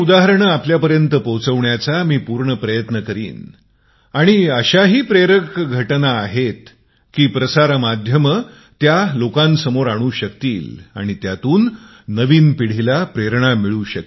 आपल्या पर्यंत पोहचवण्याचा पूर्ण मी प्रयत्न करीन आणि अश्या प्रेरक घटना आहे की मीडियाचे लोक सुद्धा त्याचा पूर्ण लाभ घेऊ शकतात ते ही अश्या लोकांच्या मुलाखती घेऊन नवीन पिढीला प्रेरणा देऊ शकते